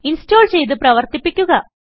install ചെയ്ത് പ്രവർത്തിപ്പിക്കുക